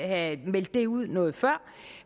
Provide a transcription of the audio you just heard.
have meldt det ud noget før